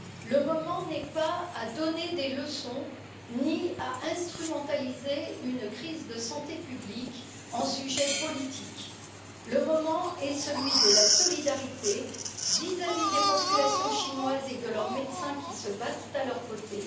Le moment n'est pas à donner des leçons, ni à instrumentaliser une crise de santé publique pour en faire un sujet politique. Le moment est celui de la solidarité vis à vis des populations chinoises et de leurs médecins qui se battent à leurs côtés.